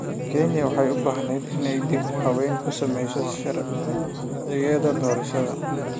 Kenya waxay u baahneyd inay dib u habeyn ku sameyso sharcigeeda doorashada.